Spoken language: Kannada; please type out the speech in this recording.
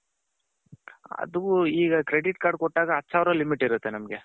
ಅದು ಈಗ credit card ಕೊಟ್ಟಾಗ ಹತ್ತು ಸಾವಿರ limit ಇರುತ್ತೆ ನಮ್ಮಗೆ.